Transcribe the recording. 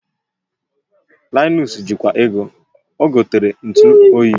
Linus ji kwa ego, ogotere ntu oyi